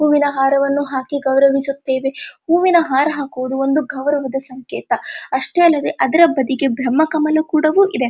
ಹೂವಿನ ಹಾರವನ್ನು ಹಾಕಿ ಗೌರವಿಸುತ್ತೇವೆ ಹೂವಿನ ಹಾರ ಹಾಕುವುದು ಒಂದು ಗೌರವದ ಸಂಕೇತ ಅಷ್ಟೇ ಅಲ್ಲದೆ ಅದರಬದಿಗೆ ಬ್ರಹ್ಮಕಮಲ ಕೂಡ ಇದೆ.